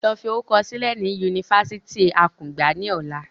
Lọ fi orúkọ sílẹ̀ ni Yunifásítì akungba ni ọ̀la!